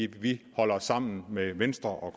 vi holder sammen med venstre og